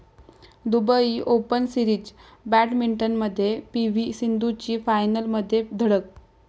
Dubai open series बॅटमिंटनमध्ये PV सिंधूची फायनलमध्ये धडक